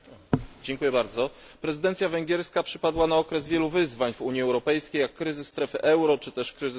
Prezydencja węgierska przypadła na okres wielu wyzwań w Unii Europejskiej, kryzysu strefy euro, czy też kryzysu w Afryce Północnej.